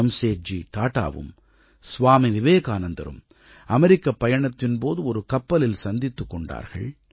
ஜம்சேட்ஜி டாடாவும் ஸ்வாமி விவேகானந்தரும் அமெரிக்கப் பயணத்தின் போது ஒரு கப்பலில் சந்தித்துக் கொண்டார்கள்